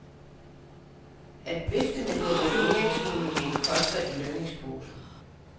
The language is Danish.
At vifte med devalueringsmuligheden koster i lønningsposen.